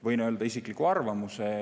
Võin öelda isikliku arvamuse.